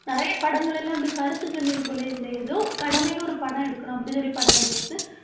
நிறைய படங்களெல்லாம் அப்படி கருத்து சொல்லியது போல இல்லை ஏதோ கடமைக்கு ஒரு படம் எடுக்கணும் அப்படின்னு சொல்லி படம் எடுத்து